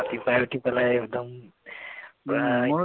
ৰাতিপুৱাই উঠি পেলাই একদম পুৰা